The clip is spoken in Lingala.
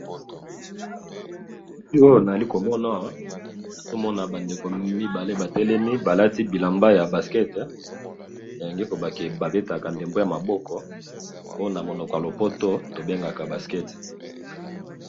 Elili oyo na ali komona aomona bandeko mibale batelemi balati bilamba ya baskete eyangi kobake babetaka ndembo ya maboko oyo na monoko ya lopoto tobengaka baskete